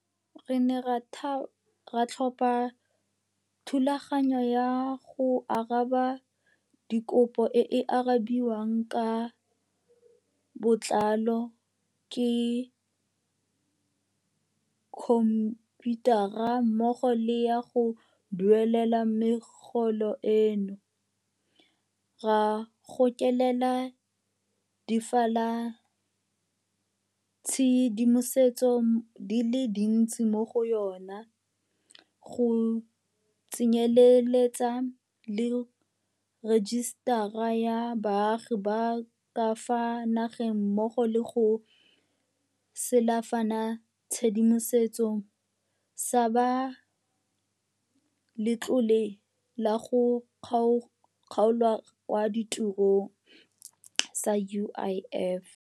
Re ne ra tlhoma thulaganyo ya go araba dikopo e e arabiwang ka botlalo ke khomphiutara mmogo le ya go duelela megolo eno, ra gokelela difalanatshedimosetso di le dintsi mo go yona, go tsenyeletsa le Rejisetara ya Baagi ba ka fa Nageng mmo go le sefalanatshedimoso sa ba Letlole la go Kgaolwa kwa Tirong, UIF.